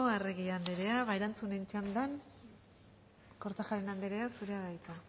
arregi andrea ba erantzunen txandan kortajarena andrea zurea da hitza